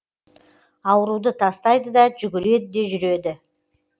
ауруды тастайды да жүгіреді де жүреді